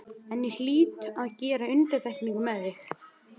En ég hlýt að gera undantekningu með þig.